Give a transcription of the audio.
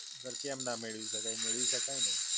પર કેમ ના મેળવી શકાય? મેળવી શકાય ને.